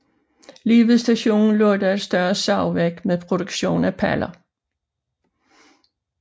Lige ved stationen lå der et større savværk med produktion af paller